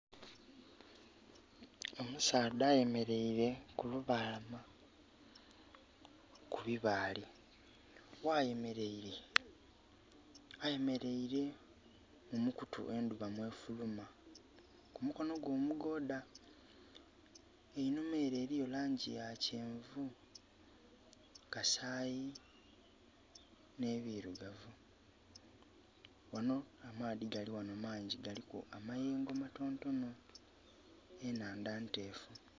Omusaadha eyemeleire kulubalama ku bibaale. Ghayemeleire ayemeleire mu mukutu endhuba mwefuluma ku mukonho gwe omugoodha, einhuma ere eriyo langi ya kyenvu, kasayi nhe birugavu. Ghanho amaadhi galighano mangi galiku amayengo matonotono enhandha ntefu.